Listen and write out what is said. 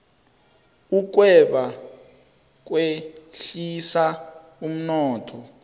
ukweba kwehlisa umnotho